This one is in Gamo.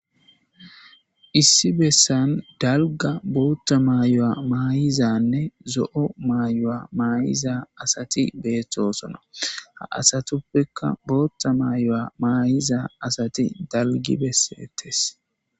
Issi bessan daalgga guuththa maayo mayida asati dettes.ha asatupeka botha mayiwu mayida asati daligi besetesu